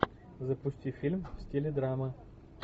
запусти фильм в стиле драмы